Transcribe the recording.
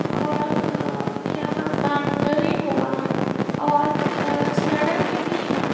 और अ यहाँ बाउंड्री हुआ है और ए सड़क भी है।